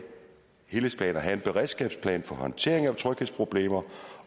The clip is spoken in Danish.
helhedsplaner have en beredskabsplan for håndteringen af tryghedsproblemer